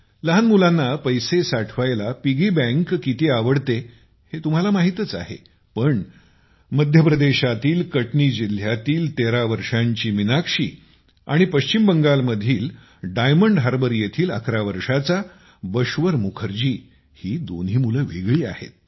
लहान मुलांना पैसे साठवायला पिग्गी बँक किती आवडते हे तुम्हाला माहीतच आहे पण मध्य प्रदेशातील कटनी जिल्ह्यातील 13 वर्षाची मीनाक्षी आणि पश्चिम बंगालमधील डायमंड हार्बर येथील 11 वर्षाचा बश्वर मुखर्जी ही दोन्ही मुलं वेगळी आहेत